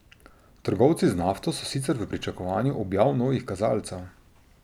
Trgovci z nafto so sicer v pričakovanju objav novih kazalcev.